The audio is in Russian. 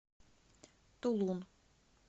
тулун